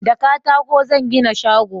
da katako zan gina shago